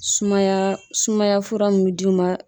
Sumaya sumaya fura min d'i ma